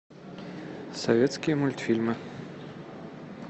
советские мультфильмы